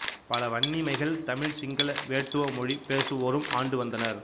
பல வன்னிமைகள் தமிழ் சிங்கள வேட்டுவ மொழி பேசுவோரும் ஆண்டு வந்தனர்